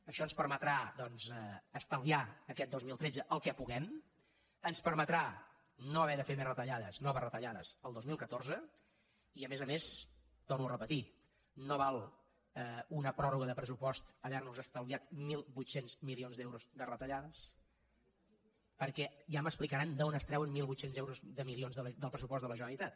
això ens permetrà doncs estalviar aquest dos mil tretze el que puguem ens permetrà no haver de fer més retallades noves retallades el dos mil catorze i a més a més ho torno a repetir no val una pròrroga de pressupost havernos estalviat mil vuit cents milions d’euros de retallades perquè ja m’explicaran d’on es treuen mil vuit cents milions d’euros del pressupost de la generalitat